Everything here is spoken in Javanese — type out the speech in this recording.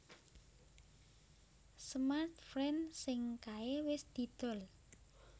Smartfren sing kae wis didol